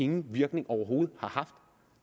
nogen virkning overhovedet